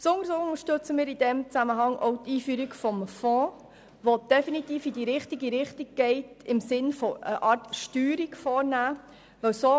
Besonders unterstützen wir in diesem Zusammenhang auch die Einführung des Fonds, der definitiv in die richtige Richtung im Sinn eines Steuerungsinstruments weist.